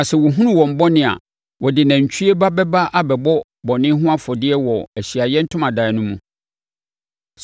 Na sɛ wɔhunu wɔn bɔne a, wɔde nantwie ba bɛba abɛbɔ bɔne ho afɔdeɛ wɔ Ahyiaeɛ Ntomadan no mu.